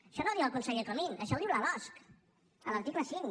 això no ho diu el conseller comín això ho diu la losc a l’article cinc